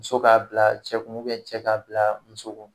Muso k'a bila cɛ kun cɛ k'a bila muso kun.